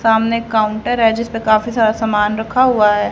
सामने काउंटर है जिसपे काफी सारा सामान रखा हुआ है।